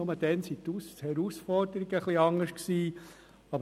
Nur gab es damals andere Herausforderungen.